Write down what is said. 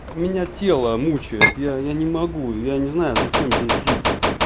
меня тело мучает я я не могу я не знаю зачем здесь жить